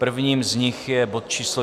Prvním z nich je bod číslo